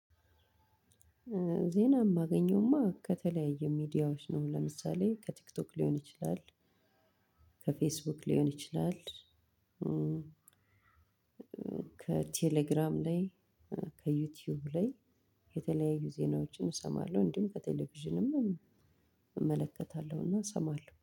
ዜና የማገኘውማ ከተለያየ ሚዲያዎች ነው ለምሳሌ ከቲክቶክ ሊሆን ይችላል። ከፌስቡክ ሊሆን ይችላል። ከቴሌግራም ላይ ከዩቲዩብ ላይ የተለያዩ ዜናዎችን እሰማለሁ እንዲሁም ከቴሌቪዥንም እመለከታለሁና እሰማለሁ